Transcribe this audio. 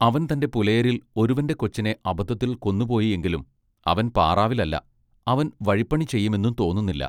അവൻ തന്റെ പുലയരിൽ ഒരുവന്റെ കൊച്ചിനെ അബദ്ധത്തിൽ കൊന്നു പോയി എങ്കിലും അവൻ പാറാവിൽ അല്ല, അവൻ വഴിപ്പണി ചെയ്യുമെന്നും തോന്നുന്നില്ല.